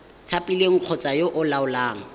thapilweng kgotsa yo o laolang